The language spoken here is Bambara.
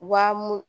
Wa mun